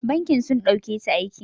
Bankin sun ɗauketa aiki.